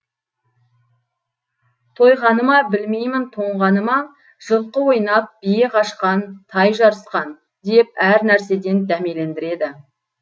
тойғаны ма білмеймін тоңғаны ма жылқы ойнап бие қашқан тай жарыскан деп әр нәрседен дәмелендіреді